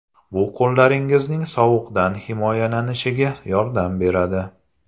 Bu qo‘llaringizning sovuqdan himoyalanishiga yordam beradi.